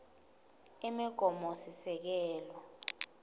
imigomosisekelo